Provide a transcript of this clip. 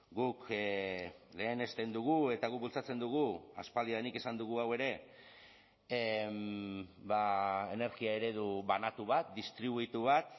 guk lehenesten dugu eta guk bultzatzen dugu aspaldidanik esan dugu hau ere energia eredu banatu bat distribuitu bat